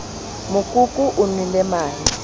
mokoko o nwele mahe ha